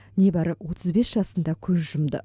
небәрі отыз бес жасында көз жұмды